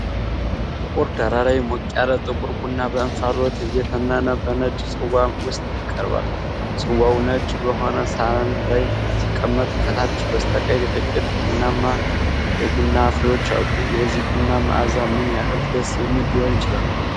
ጥቁር ዳራ ላይ፣ ሞቅ ያለ ጥቁር ቡና በእንፋሎት እየተነነ በነጭ ጽዋ ውስጥ ይቀርባል። ጽዋው ነጭ በሆነ ሳህን ላይ ሲቀመጥ፣ ከታች በስተቀኝ ጥቂት ቡናማ የቡና ፍሬዎች አሉ። የዚህ ቡና መዓዛ ምን ያህል ደስ የሚል ሊሆን ይችላል?